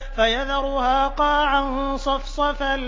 فَيَذَرُهَا قَاعًا صَفْصَفًا